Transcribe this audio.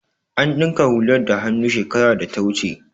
An dinka hular da hannu shekarar data wuce